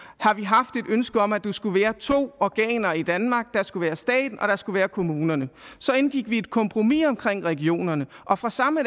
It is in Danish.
har vi haft et ønske om at der skulle være to organer i danmark der skulle være staten og der skulle være kommunerne så indgik vi et kompromis omkring regionerne og fra samme